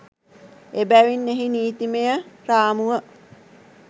එබැවින් එහි නීතිමය රාමුව